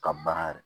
Ka baara yɛrɛ